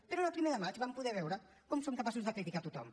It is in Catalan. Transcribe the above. però en el primer de maig vam poder veure com són capaços de criticar tothom